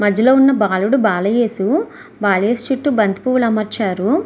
మధ్యలో ఉన్న బాలుడు బాల యేసు బాల యేసు. చుట్టూ బంతిపూల అమర్చారు.